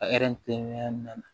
na